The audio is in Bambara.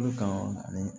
Olu kan ani